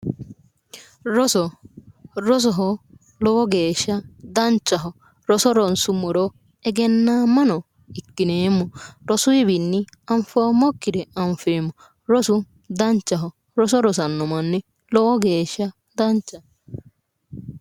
Roso rosoho lowo geeshsha danchaho roso ronsummoro egennaamma ikkineemmo rosuyiwiinni anfoommokkire anfeemmo rosu danchaho roso rosanno manni lowo geeshsha danchaho